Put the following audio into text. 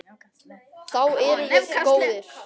Þá erum við góðir.